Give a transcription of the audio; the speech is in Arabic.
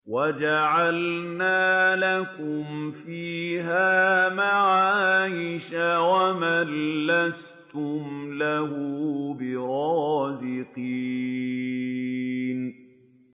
وَجَعَلْنَا لَكُمْ فِيهَا مَعَايِشَ وَمَن لَّسْتُمْ لَهُ بِرَازِقِينَ